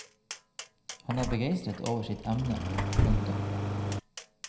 Han er begeistret over sitt emne. punktum